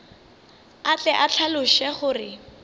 a tle a hlaloše gore